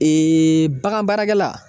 bagan baarakɛla